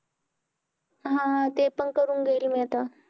हा हा ते पण करून घेईल मी आता.